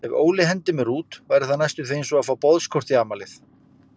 Ef Óli hendir mér út væri það næstum því einsog að fá boðskort í afmælið.